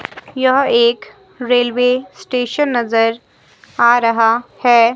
यह एक railway station नजर आ रहा है।